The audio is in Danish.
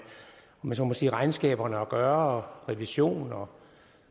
om jeg så må sige regnskaberne at gøre og revision